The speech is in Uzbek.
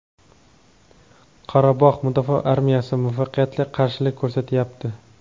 Qorabog‘ mudofaa armiyasi muvaffaqiyatli qarshilik ko‘rsatyapti.